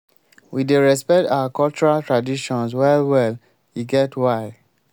we dey respect our cultural traditions well-well e get why.